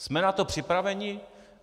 Jsme na to připraveni?